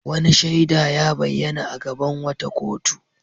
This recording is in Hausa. Wani shaida ya bayyana a gaban wata kotu.